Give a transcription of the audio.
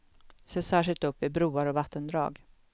Se särskilt upp vid broar och vattendrag.